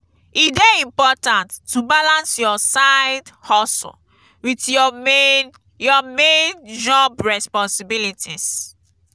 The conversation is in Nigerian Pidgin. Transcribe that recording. e dey important to balance your side-hustle with your main your main job responsibilities.